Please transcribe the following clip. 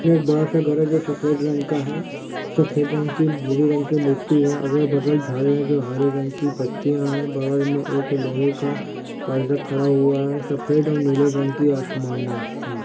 सामने एक बरा सा घर है जो सफेद रंग का है सफेद रंग की भूरी रंग की मिट्टी है अगल-बगल झाङे है जो हरे रंग की पत्तीया है बगल मे एक लोहे का परदा खरा हुआ है सफेद और नीले रंग की आसमानी है।